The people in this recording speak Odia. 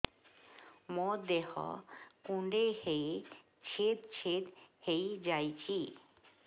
ମୋ ଦେହ କୁଣ୍ଡେଇ ହେଇ ଛେଦ ଛେଦ ହେଇ ଯାଉଛି